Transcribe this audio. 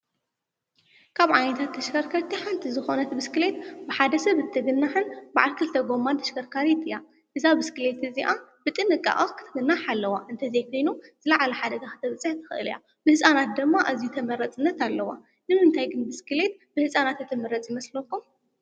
ካብ ዓይነ ታት ተሽከርከርኪሓንቲ ዝኾነት ብስክሌየት ብሓደሰብ እትግናሕን ባዓል ክልተ ጐማን ተሸከርካሪት እያ። እዛ ብስክሌት እዚኣ ብጥንቃቐኽ ኽትግናኃ ኣለዋ። እንተዘይኮይኑ ዝለዓለ ሓደጋ ኽተብፅሕ ተኽእል እያ። ብሕፃናት ደማ እዙይ ተመረጽነት ኣለዋ። ንምንታይ ግን ብስክሌት ብሕፃናት እትመረጽ ይመስለኩም?